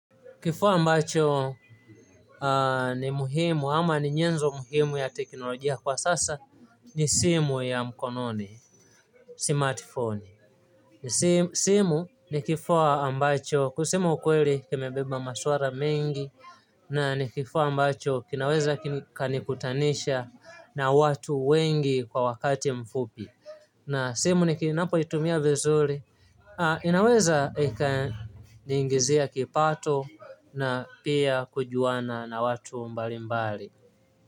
Kifaa ambacho ni muhimu ama ni nyenzo muhimu ya teknolojia kwa sasa ni simu ya mkononi smatifoni. Simu ni kifaa ambacho kusema ukweli kimebeba maswala mengi na ni kifaa ambacho kinaweza kikanikutanisha na watu wengi kwa wakati mfupi na simu ninapoitumia vizuri inaweza ikaniingizia kipato na pia kujuana na watu mbalimbali.